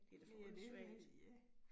Det er det, jeg mente ja